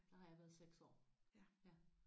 Der har jeg været 6 år